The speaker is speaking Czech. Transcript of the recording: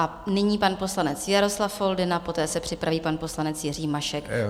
A nyní pan poslanec Jaroslav Foldyna, poté se připraví pan poslanec Jiří Mašek.